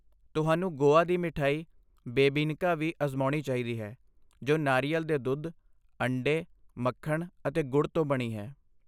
ਤੁਹਾਨੂੰ ਗੋਆ ਦੀ ਮਠਿਆਈ ਬੇਬੀਨਕਾ ਵੀ ਅਜ਼ਮਾਉਣੀ ਚਾਹੀਦੀ ਹੈ ਜੋ ਨਾਰੀਅਲ ਦੇ ਦੁੱਧ, ਅੰਡੇ, ਮੱਖਣ ਅਤੇ ਗੁੜ ਤੋਂ ਬਣੀ ਹੈ।